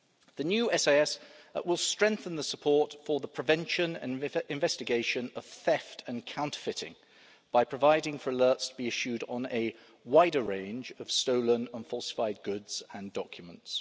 The new SIS will strengthen support for the prevention and investigation of theft and counterfeiting by providing for alerts to be issued on a wider range of stolen and falsified goods and documents.